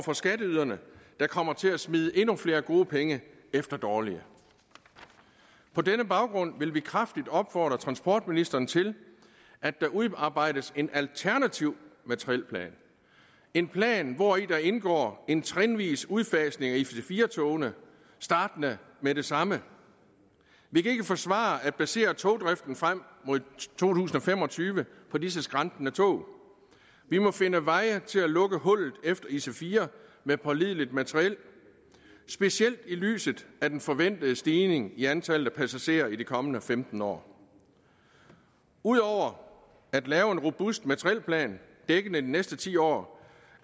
for skatteyderne der kommer til at smide endnu flere gode penge efter dårlige på denne baggrund vil vi kraftigt opfordre transportministeren til at der udarbejdes en alternativ materielplan en plan hvori der indgår en trinvis udfasning af ic4 togene startende med det samme vi kan ikke forsvare at basere togdriften frem mod to tusind og fem og tyve på disse skrantende tog vi må finde veje til at lukke hullet efter ic4 med pålideligt materiel specielt set i lyset af den forventede stigning i antallet af passagerer i de kommende femten år ud over at lave en robust materielplan dækkende de næste ti år